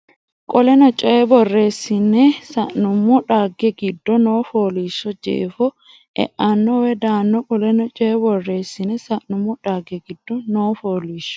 Qoleno Coy borreessine sa nummo dhagge giddo noo fooliishsho jeefora eano woy daanno Qoleno Coy borreessine sa nummo dhagge giddo noo fooliishsho.